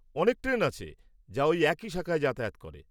অনেক ট্রেন আছে যা ওই একই শাখায় যাতায়াত করে।